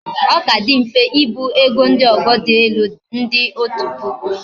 o Ka di mfe ibu ego ndi ogo di elu ndi otu puku